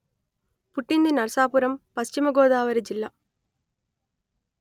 పుట్టింది నరసాపురం పశ్చిమ గోదావరి జిల్లా